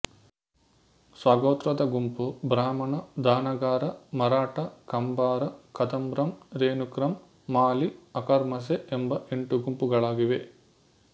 ಸ್ವಗೋತ್ರದ ಗುಂಪು ಬ್ರಾಹ್ಮಣ ಧಾನಗಾರ ಮರಾಠಾ ಕಂಭಾರ ಕದಮ್ರಾಮ್ ರೇಣುಕ್ರಾಮ್ ಮಾಲಿ ಅಕರ್ಮಾಸೆ ಎಂಬ ಎಂಟು ಗುಂಪುಗಳಾಗಿವೆ